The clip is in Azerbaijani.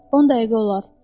On dəqiqə olar.